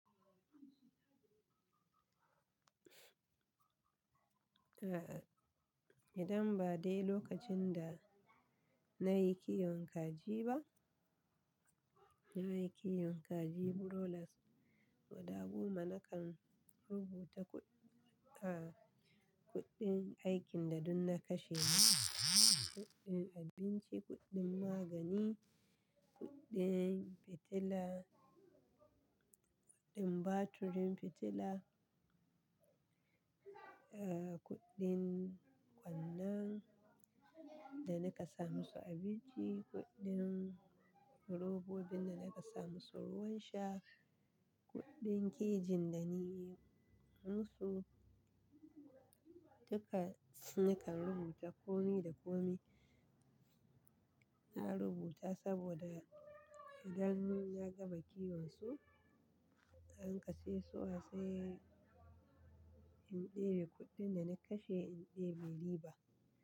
Idan ba dai lokacin da nayi kiwon kaji ba, nayi kiwon kaji, burolas, guda goma na kan rubuta kuɗ- ah, kuɗin aikin da dunna kashe ma. Kuɗin abinci, kuɗin magani, kuɗin fitila, kuɗin batirin fitila, eh, kuɗin ƙwanan da naka sa musu abinci, kuɗin robobin da naka sa musu ruwan sha, kuɗin kijin da nayyi musu. Duka nakan rubuta. Komi da komi na rubuta saboda idan na gaba kiwon su, na ƙashe su, wa sai in ɗebi kuɗin da na kashe in ɗebi riba.